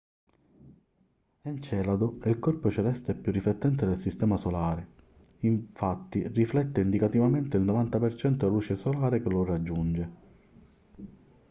encelado è il corpo celeste più riflettente del sistema solare infatti riflette indicativamente il 90% della luce solare che lo raggiunge